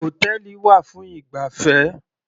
Hòtẹ́ẹ̀lì wà fún ìgbafẹ́.